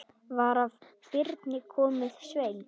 Var af Birni kominn Sveinn.